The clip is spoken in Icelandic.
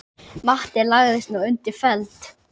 Matti lagðist nú undir feld.